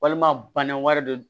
Walima bana wɛrɛ don